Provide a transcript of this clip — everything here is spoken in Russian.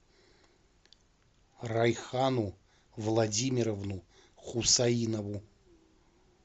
райхану владимировну хусаинову